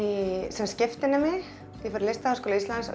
sem skiptinemi ég fór í Listaháskóla Íslands